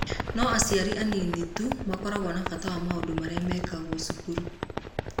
No aciari anini tu makoragwo na bata na maũndũ marĩa mekagwo cukuru.